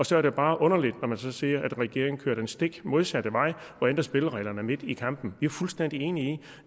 så er det bare underligt når man så ser at regeringen kører den stik modsatte vej og ændrer spillereglerne midt i kampen vi er fuldstændig enige i